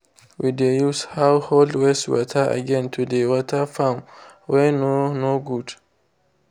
we de use household wastwater again to dey water farm wey no no good.